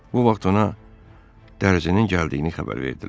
Bu vaxt ona dərzinin gəldiyini xəbər verdilər.